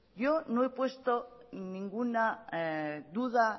yo no he puesto ninguna duda